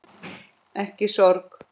Ekki sorg.